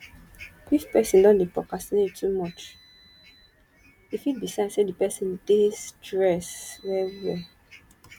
if person don dey procrastinate too much e fit be sign say di person dey stress well well